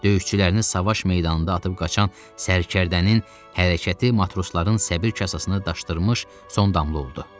Döyüşçülərini savaş meydanında atıb qaçan sərkərdənin hərəkəti matrosların səbir kasasını daşdırmış son damla oldu.